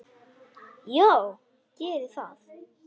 BÓNDI: Já, gerið það.